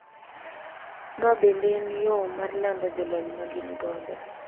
Ma bende en yo mar lando jolony ma gin godo.